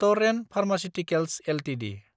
Torrent pharmaceuticals Ltd